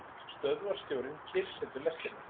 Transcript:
Stöðvarstjórinn kyrrsetur lestina.